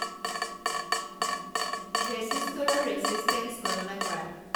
ৰেছিষ্টৰৰ resistance গণনা কৰা